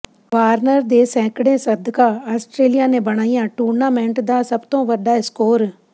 Warner ਦੇ ਸੈਂਕੜੇ ਸਦਕਾ ਆਸਟਰੇਲੀਆ ਨੇ ਬਣਾਇਆ ਟੂਰਨਾਮੈਂਟ ਦਾ ਸਭ ਤੋਂ ਵੱਡਾ ਸਕੋਰ